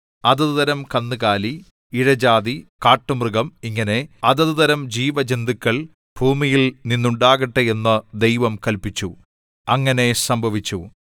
അതത് തരം കന്നുകാലി ഇഴജാതി കാട്ടുമൃഗം ഇങ്ങനെ അതതുതരം ജീവജന്തുക്കൾ ഭൂമിയിൽ നിന്നുണ്ടാകട്ടെ എന്നു ദൈവം കല്പിച്ചു അങ്ങനെ സംഭവിച്ചു